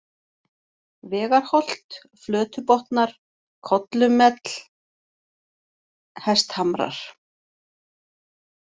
Vegarholt, Flötubotnar, Kollumell, Hesthamrar